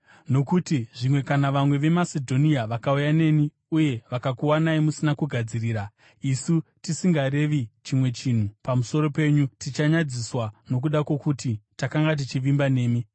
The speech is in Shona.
Nokuti zvimwe kana vamwe veMasedhonia vakauya neni uye vakakuwanai musina kugadzirira, isu tisingarevi chimwe chinhu pamusoro penyu, tichanyadziswa nokuda kwokuti takanga tichivimba nemi.